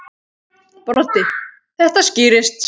Broddi: Þetta skýrist.